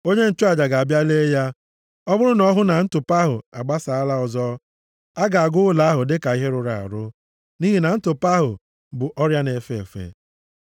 onye nchụaja ga-abịa lee ya. Ọ bụrụ na ọ hụ na ntụpọ ahụ agbasaala ọzọ, ọ ga-agụ ụlọ ahụ dịka ihe rụrụ arụ, nʼihi na ntụpọ ahụ bụ ọrịa na-efe efe.